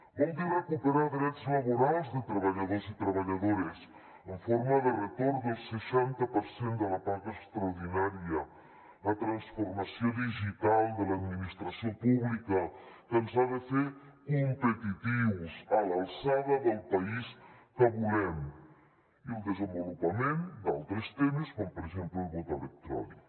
vol dir recuperar drets laborals de treballadors i treballadores en forma de retorn del seixanta per cent de la paga extraordinària la transformació digital de l’administració pública que ens ha de fer competitius a l’alçada del país que volem i el desenvolupament d’altres temes com per exemple el vot electrònic